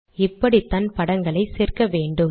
இப்படித்தான் படங்களை சேர்க்க வேண்டும்